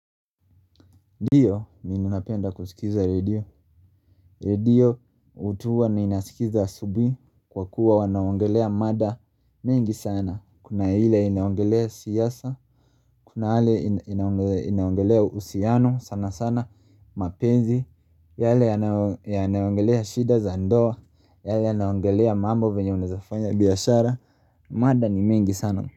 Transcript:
Ndiyo mimi napenda kusikiza radio Radio hutuwa ninasikiza asubuhi kwa kuwa wanaongelea mada mengi sana. Kuna ile inaongelea siasa, kuna ile inaongelea uhusiano sana sana mapenzi yale yanayoongelea shida za ndoa, yale yanaongelea mambo venye unawezafanya biashara mada ni mingi sana.